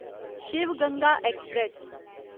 Shiv Ganga express